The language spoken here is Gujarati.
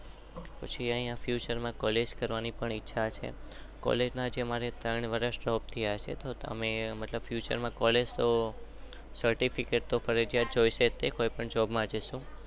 પછી અહિયાં ફૂતુરે માં કેલેગ કરવાની ઈચ્છા છે.